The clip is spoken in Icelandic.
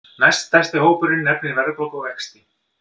Næststærsti hópurinn nefnir verðbólgu og vexti